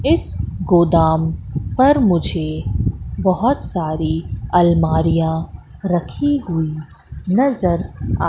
इस गोदाम पर मुझे बहोत सारी अलमारियां रखी हुईं नजर आ--